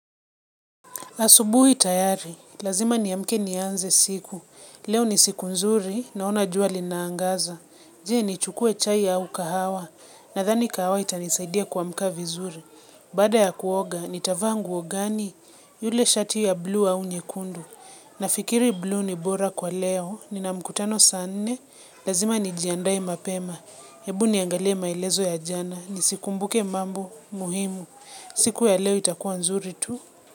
Asubuhi tayari, lazima niamke nianze siku. Leo ni siku nzuri, naona jua linaangaza. Je, nichukue chai au kahawa? Nadhani kahawa itanisaidia kuamka mzuri. Baada ya kuoga, nitavaa nguo gani? Lile shati la buluu au nyekundu. Nafikiri buluu ni bora kwa leo, nina mkutano saa nne, lazima nijiandae mapema. Hebu niangalie maelezo ya jana, nikumbuke mambo muhimu. Siku ya leo itakuwa nzuri tu.